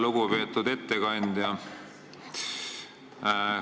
Lugupeetud ettekandja!